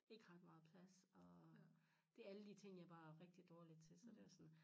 Ikke ret meget plads og det alle de ting jeg bare er rigtig dårlig til så det også sådan